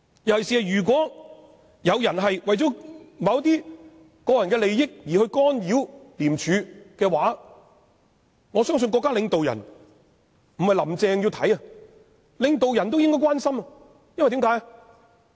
尤其是如果有人為了自己的個人利益而干擾廉署，我相信不僅"林鄭"要留意，連國家領導人也要關心，為甚麼呢？